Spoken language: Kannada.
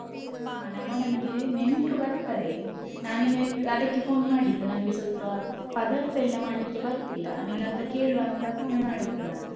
ಹ ನಮ್ಮ ಮನೆಗೆ ನೆಂಟ್ರು ಬರ್ತರೆ, ನಾನ್ ನಿನ್ಗೆ ಅದಕ್ಕೆ phone ಮಾಡಿದ್ದು ನನ್ಗೆ ಸ್ವಲ್ಪ ಪದಾರ್ಥ ಎಲ್ಲ ಮಾಡ್ಲಿಕ್ಕೆ ಬರುದಿಲ್ಲ, ನಿನ್ನತ್ರ ಕೇಳುವ ಅಂತ phone ಮಾಡಿದ್ದು ನಾನು.